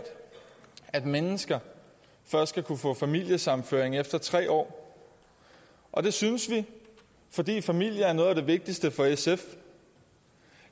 at mennesker først skal kunne få familiesammenføring efter tre år og det synes vi fordi familie er noget af det vigtigste for sf